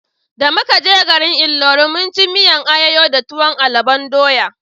Da muka je garin Ilori mun ci miyan ayoyo da tuwon alubon doya